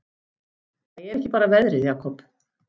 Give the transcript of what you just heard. Það er ekki bara veðrið, Jakob.